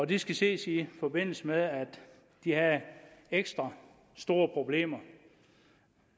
det skal ses i forbindelse med at de har ekstra store problemer